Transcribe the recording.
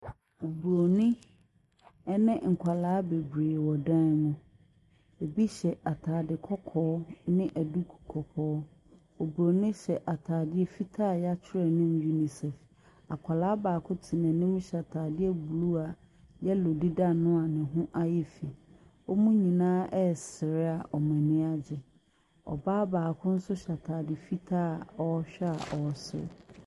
Bronin ne nkwadaa bebree wɔ dan ne mu, bi hyɛ ataade kɔkɔɔ ne duku kɔkɔɔ. Obronin hyɛ ataadeɛ fitaa a yɛatwerɛ anim UNICEF. Akwadaa baako te n’anim hyɛ ataadeɛ blue a yellow deda ano a ne ho ayɛ fii. Wɔn nyinaa ɛresere a wɔni agye, Ɔbaa baako nso hyɛ ataade fitaa a ɔrehwɛ a wɔn so.